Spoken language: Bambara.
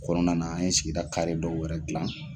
Kɔnɔna na an ye sigira dɔw yɛrɛ gilan